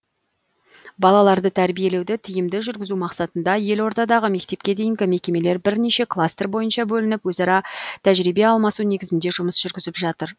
балаларды тәрбиелеуді тиімді жүргізу мақсатында елордадағы мектепке дейінгі мекемелер бірнеше кластер бойынша бөлініп өзара тәжірибе алмасу негізінде жұмыс жүргізіп жатыр